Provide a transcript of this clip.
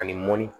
Ani mɔnni